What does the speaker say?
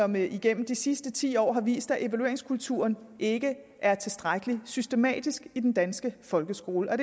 men igennem de sidste ti år har vist at evalueringskulturen ikke er tilstrækkelig systematisk i den danske folkeskole og